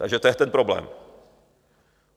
Takže to je ten problém.